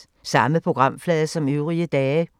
Samme programflade som øvrige dage